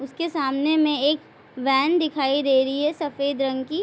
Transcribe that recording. उसके सामने में वैन दिखाई दे रही है सफ़ेद रंग की।